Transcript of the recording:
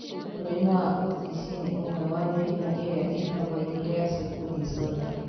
Mũrimũ wa OTC nĩ ũmwe wa mĩrimũ ĩrĩa ĩtagwo urea cycle disorder.